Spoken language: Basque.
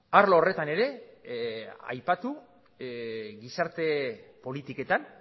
arlo horretan ere aipatu gizarte politiketan